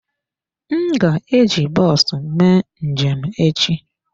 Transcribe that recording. M ga-eji bọs mee njem echi.